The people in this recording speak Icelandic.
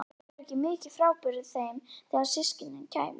Fólk væri ekki mikið frábrugðið þeim þegar til stykkisins kæmi.